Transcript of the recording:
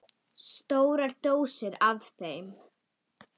Stórar dósir af þeim.